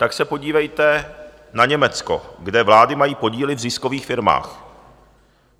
Tak se podívejte na Německo, kde vlády mají podíly v ziskových firmách.